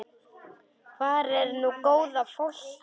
Hvar er nú góða fólkið?